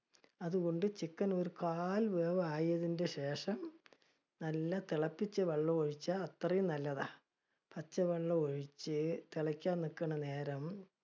അതുകൊണ്ട് chicken ഒരു കാൽ വേവ് ആയതിന്റെ ശേഷം, നല്ല തിളപ്പിച്ച വെള്ളം ഒഴിച്ചാ അത്രയും നല്ലതാ. പച്ചവെള്ളം ഒഴിച്ച് തിളക്കാൻ നിൽക്കണ നേരം